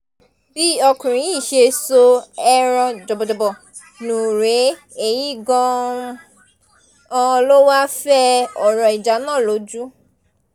bí ọkùnrin yìí ṣe so ẹran jọ̀bọ̀jọ̀bọ̀ nù rèé èyí gan-an ló wáá fẹ́ ọ̀rọ̀ ìjà náà lójú